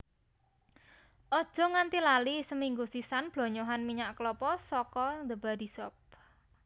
ojo nganti lali seminggu sisan blonyohan minyak kelapa saka The Body Shop